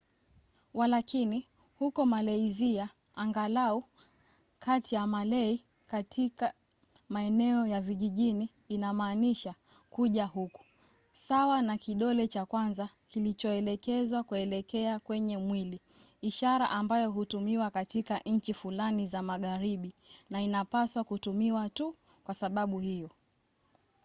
walakini huko malaysia angalau kati ya malay katika maeneo ya vijijini inamaanisha kuja huku, sawa na kidole cha kwanza kilichoelekezwa kuelekea kwenye mwili ishara ambayo hutumiwa katika nchi fulani za magharibi na inapaswa kutumiwa tu kwa sababu hiyo